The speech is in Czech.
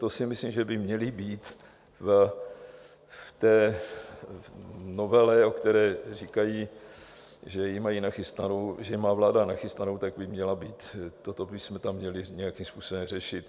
To si myslím, že by měly být v té novele, o které říkají, že ji mají nachystanou, že ji má vláda nachystanou, tak by měla být, toto bychom tam měli nějakým způsobem řešit.